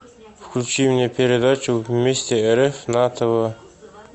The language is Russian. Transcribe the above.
включи мне передачу вместе рф на тв